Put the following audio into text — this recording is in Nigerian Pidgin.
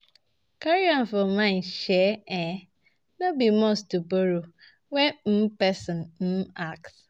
Carry am for mind sey um no be must to borrow when um person um ask